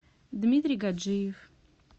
дмитрий гаджиев